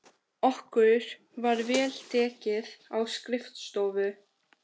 Okkur var vel tekið á skrifstofu